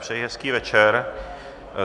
Přeji hezký večer.